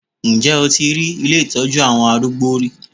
Ǹjẹ́ o ti rí ilé ìtọ́jú àwọn arúgbó rí?